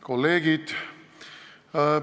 Kolleegid!